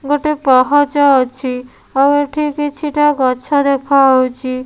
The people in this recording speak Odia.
ଗୋଟେ ପାହାଚ ଅଛି ଆଉ ଏଠି କିଛି ଟା ଗଛ ଦେଖାହଉଚି।